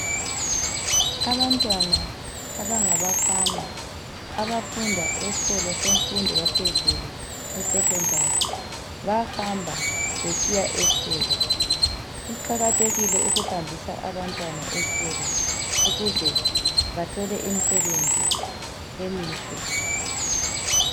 Abantwana abanga bafana abafunda esikolo semfundo yaphezulu e secondary bahamba besiya esikolo, kuqakathekile ukuhambisa abantwana esikolo ukuze bathole imsebenzi emihle.